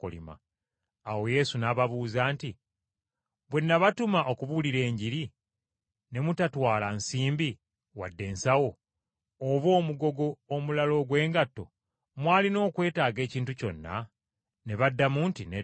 Awo Yesu n’ababuuza nti, “Bwe nabatuma okubuulira Enjiri, ne mutatwala nsimbi wadde ensawo, oba omugogo omulala ogw’engatto, mwalina okwetaaga ekintu kyonna?” Ne baddamu nti, “Nedda.”